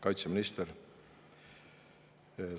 Kaitseminister!